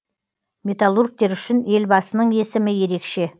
металлургтер үшін елбасының есімі ерекше